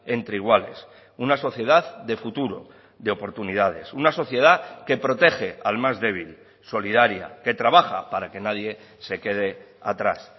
entre iguales una sociedad de futuro de oportunidades una sociedad que protege al más débil solidaria que trabaja para que nadie se quede atrás